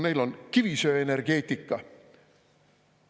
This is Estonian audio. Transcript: Neil on kivisöeenergeetika.